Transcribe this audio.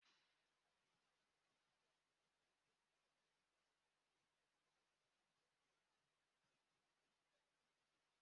Ụkọchukwu ahụ gọziri ndị lụrụ ọhụrụ ma gwa ha ka ha susuo ibe ha ọnụ